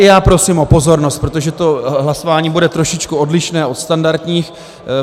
I já prosím o pozornost, protože to hlasování bude trošičku odlišné od standardních.